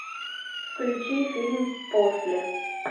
включи фильм после